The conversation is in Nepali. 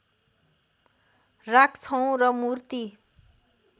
राख्छौं र मूर्ति